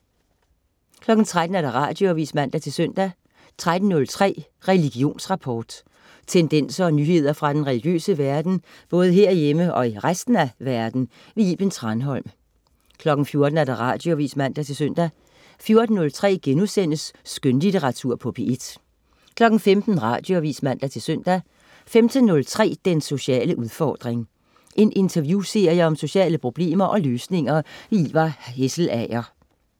13.00 Radioavis (man-søn) 13.03 Religionsrapport. Tendenser og nyheder fra den religiøse verden, både herhjemme og i resten af verden. Iben Thranholm 14.00 Radioavis (man-søn) 14.03 Skønlitteratur på P1* 15.00 Radioavis (man-søn) 15.03 Den sociale udfordring. En interviewserie om sociale problemer og løsninger. Ivar Hesselager